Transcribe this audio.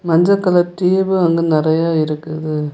மஞ்ச colour tube அங்க நறைய இருக்குது.